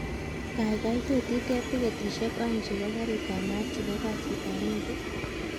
Kaikai tot iteb tiketishek oeng chebo garit ab maat chebo kasit ab muut